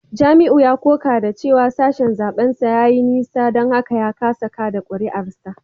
Jamiu ya koka da cewa sashen zaben sa ya yi nisa don haka ya kasa kada kuri’arsa